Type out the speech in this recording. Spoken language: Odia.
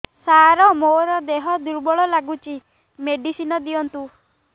ସାର ମୋର ଦେହ ଦୁର୍ବଳ ଲାଗୁଚି ମେଡିସିନ ଦିଅନ୍ତୁ